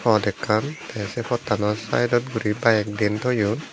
pot ekkan tey sei pottanot sayedot guri bike den toyon.